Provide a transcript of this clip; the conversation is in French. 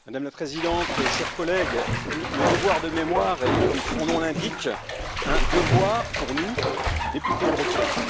Madame la Présidente, chers collègues, le devoir de mémoire est, comme son nom l'indique, un devoir pour nous, députés européens.